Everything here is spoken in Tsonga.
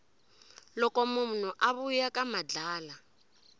loko munhu a vuya ka madlala